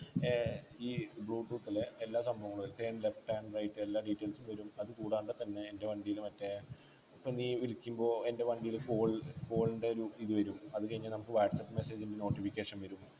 ഏർ ഈ Bluetooth ൽ എല്ലാ സംഭവവു left and right എല്ലാ details വരും അതുകൂടാതെ തന്നെ എൻ്റെ വണ്ടിയില് മറ്റേ ഇപ്പൊ നീ വിളിക്കുമ്പോൾ എൻ്റെ വണ്ടിയിൽ Phone Phone ൻ്റെ ഒരു ഇത് വരും അത് കഴിഞ്ഞ നമ്മക്ക് whatsapp Message ൻ്റെ Notification വരും